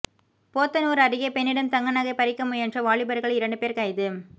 போத்தனூா் அருகே பெண்ணிடம் தங்க நகை பறிக்க முயன்ற வாலிபா்கள் இரண்டு போ் கைது